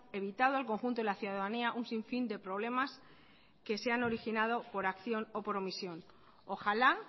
evitado al conjunto de la ciudadanía un sin fin de problemas que se han originado por acción o por omisión ojalá